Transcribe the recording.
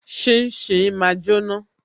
Shin shin máa jóná